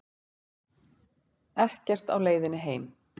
Ekkert á leiðinni heim